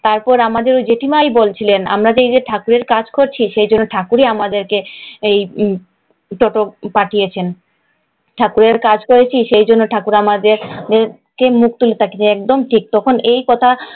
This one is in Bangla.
তারপর আমাদের জেঠিমাই বলছিলেন, আমরা যে এই ঠাকুরের কাজ করছি সেই জন্যে ঠাকুরই আমাদের এই টোটো পাঠিয়েছেন। ঠাকুরের কাজ করেছি সেই জন্যে ঠাকুরই আমাদেরকে মুখ তুলে তাকিয়েছেন। একদম ঠিক, তখন এই কথা